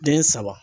Den saba